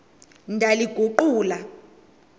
ndaliguqula